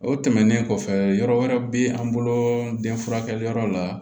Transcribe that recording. O tɛmɛnen kɔfɛ yɔrɔ wɛrɛ be an bolo den furakɛliyɔrɔ la